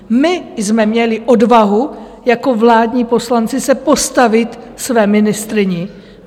My jsme měli odvahu jako vládní poslanci se postavit své ministryni.